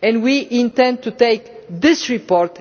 We too intend to take this report